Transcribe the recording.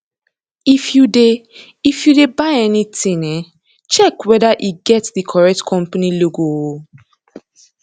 if you de if you de buy anything um check whether e get di correct company logo um